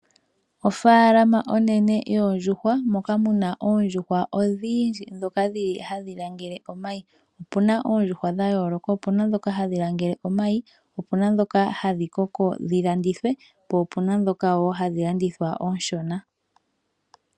Ofaalama onene yoondjuhwa moka mu na oondjuhwa odhindji ndhoka dhi li hadhi langele omayi. Opu na oondjuhwa dha yooloka. Opu na ndhoka hadhi langele omayi, opu na ndhoka hadhi koko dhi landithwe, po opu na wo ndhoka hadhi landithwa oonshona.